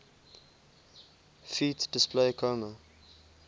ft disp comma